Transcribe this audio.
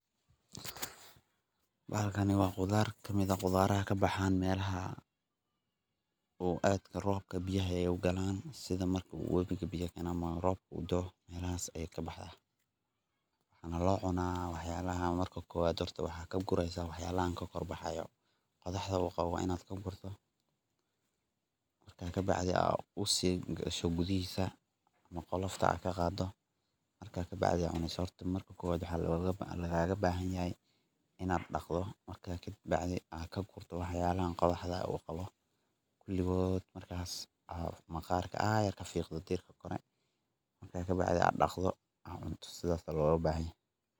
Baahalkan waa khudaar ka mid ah oo ka baxaan meelaha ay adagtahay biyaha iyo roobka u galaan, sida marka wabiga biyo uu galo ama roobka uu da’o — meelahaas ayey ka baxdaa ama la cuno. Horta marka kowaad maxaa ka gureysa? Waxyaalahan ka kor baxayo qodaxdhan oo qwo a waa inaad ka gurtid. Ka bacdii, usii guda gasho gudihiisa ama qolofta aad ka qaaddo. Markaas ka bacdii baad cunaysaa. Marka hore maxaa lagama bahanyahy ah? Inaad dhaqdo, markaas ka bacdii aad ka gurto waxyaalaha qodaxda ah u qawo oo dhan. Markaas si tartiib ah ayaad ka fiiqaysaa maqarka. Markaas ka bacdii aad dhaqdo, kadibna aad cunto. Saas ayaa loo baahan yahay.